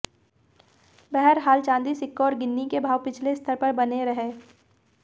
बहरहाल चांदी सिक्कों और गिन्नी के भाव पिछले स्तर पर बने रहे